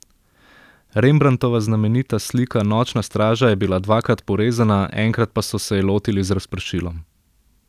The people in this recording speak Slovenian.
Rembrandtova znamenita slika Nočna straža je bila dvakrat porezana, enkrat pa so se je lotili z razpršilom.